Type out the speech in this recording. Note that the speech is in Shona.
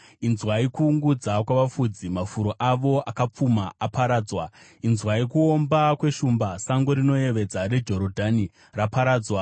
Inzwai kuungudza kwavafudzi; mafuro avo akapfuma aparadzwa! Inzwai kuomba kweshumba, sango rinoyevedza reJorodhani raparadzwa!